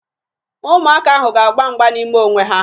Ụmụaka ahụ ga-agba mgba n'ime onwe ha